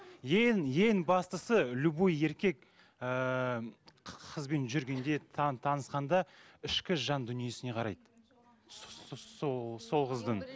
ең ең бастысы любой еркек ыыы қызбен жүргенде танысқанда ішкі жан дүниесіне қарайды сол қыздың